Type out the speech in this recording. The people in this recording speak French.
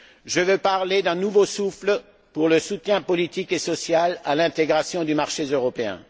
Je veux parler d'un nouveau souffle pour le soutien politique et social à l'intégration du marché européen.